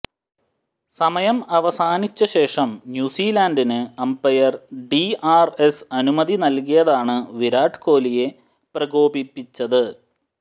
സമയം അവസാനിച്ച ശേഷം ന്യൂസീലൻഡിന് അംപയർ ഡിആർഎസ് അനുമതി നൽകിയതാണ് വിരാട് കോലിയെ പ്രകോപിപ്പിച്ചത്